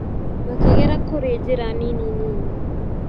Makĩgera kũri njĩra nini nini.